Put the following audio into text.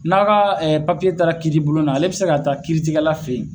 N'a ka taara kiitibulon na ale bɛ se ka taa kiirigɛla fɛ ye.